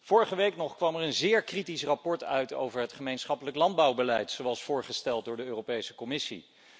Vorige week nog kwam er een zeer kritisch rapport uit over het gemeenschappelijk landbouwbeleid, zoals voorgesteld door de Europese Commissie.